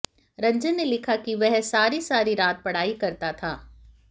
रंजन ने लिखा है कि वह सारी सारी रात पढ़ाई करता था